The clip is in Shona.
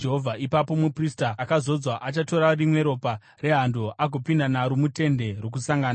Ipapo muprista akazodzwa achatora rimwe ropa rehando agopinda naro muTende Rokusangana.